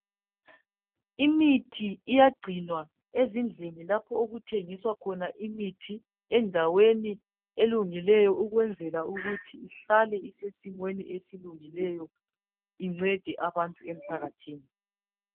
Imithi iyagcinwa ezindlini lapho okuthengiswa khona imithi endaweni elungileyo ukwenzela ukuthi ihlale isesimeni esilungileyo incede abantu emphakathini.